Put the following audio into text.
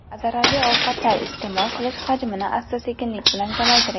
Zararli ovqatlar iste’mol qilish hajmini asta-sekinlik bilan kamaytiring.